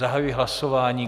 Zahajuji hlasování.